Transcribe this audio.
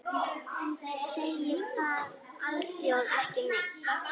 Segir það alþjóð ekki neitt?